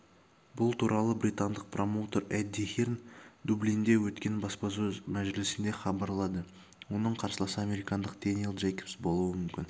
бұл туралы британдық промоутер эдди хирн дублинде өткен баспасөз-мәжілісінде хабарлады оның қарсыласы американдық дэниэл джейкобс болуы